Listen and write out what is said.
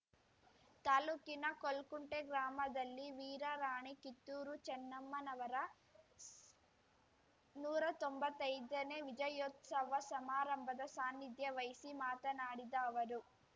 ತಾಲೂಕಿನ ಕೋಲ್ಕುಂಟೆ ಗ್ರಾಮದಲ್ಲಿ ವೀರರಾಣಿ ಕಿತ್ತೂರು ಚನ್ನಮ್ಮನವರ ಸ್ ನೂರಾ ತೊಂಬತ್ತೈದನೇ ವಿಜಯೋತ್ಸವ ಸಮಾರಂಭದ ಸಾನಿಧ್ಯ ವಹಿಸಿ ಮಾತನಾಡಿದ ಅವರು